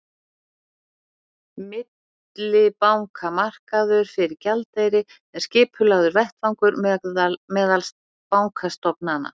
millibankamarkaður fyrir gjaldeyri er skipulagður vettvangur meðal bankastofnana